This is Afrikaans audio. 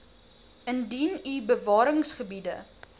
indien u bewaringsgebiede